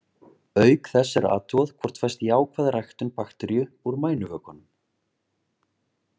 Auk þess er athugað hvort fæst jákvæð ræktun bakteríu úr mænuvökvanum.